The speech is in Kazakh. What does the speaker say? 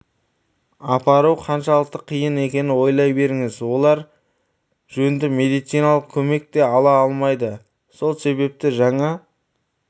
апару қаншалықты қиын екенін ойлай беріңіз олар жөнді медициналық көмек те ала алмайды солсебепті жаңа